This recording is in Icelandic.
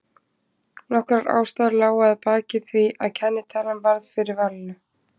Nokkrar ástæður lágu að baki því að kennitalan varð fyrir valinu.